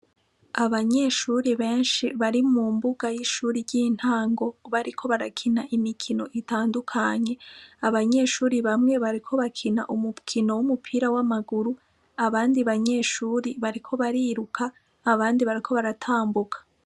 Abanyeshure benshi bari mu mbuga y'ishure ry'intango, bariko barakina imikino itandukanye. Abanyeshure bamwe bariko bakina umukino w'umupira w'amaguru, abandi banyeshure bariko bariruka, abandi bariko baratambuka.